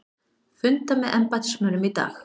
Funda með embættismönnum í dag